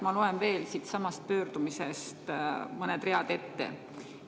Ma loen veel siitsamast pöördumisest mõned read ette.